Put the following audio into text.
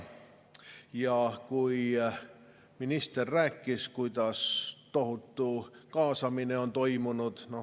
Ja minister rääkis, kuidas tohutu kaasamine on toimunud.